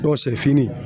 Dɔw sɛfini